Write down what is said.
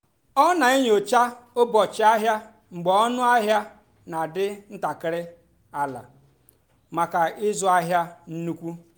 ọ́ nà-ènyócha ụ́bọ̀chị́ àhịá mgbe ónú àhịá nà-àdì́ ntàkị́rị́ àlà màkà ị́zụ́ àhịá nnùkwú.